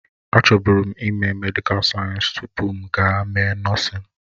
Achọbụrụ m ime medịkal sayensị tupu m aga mee nọọsịn.